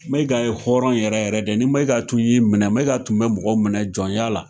Mayiga ye hɔrɔn yɛrɛ yɛrɛ de ye ni mayiga tun y'i minɛ mayiga tun be mɔgɔw minɛ jɔnya la